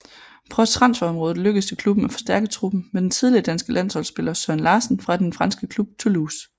På transferområdet lykkedes det klubben at forstærke truppen med den tidligere danske landsholdspiller Søren Larsen fra den franske klub Toulouse